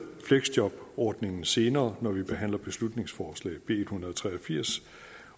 fleksjobordningen senere når vi behandler beslutningsforslag b en hundrede og tre og firs